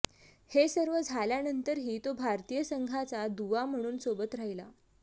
हे सर्व झाल्यानंतर ही तो भारतीय संघाचा दुवा म्हणून सोबत राहिला